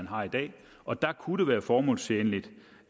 har i dag og der kunne det være formålstjenligt